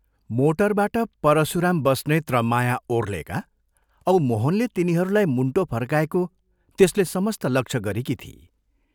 मोटरबाट परशुराम बस्नेत र माया ओर्हेका औ मोहनले तिनीहरूलाई मुण्टो फर्काएको त्यसले समस्त लक्ष्य गरेकी थिई।